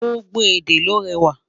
gbogbo èdè ló réwà